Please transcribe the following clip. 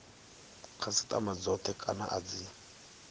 khasitama dzothe kana a dzi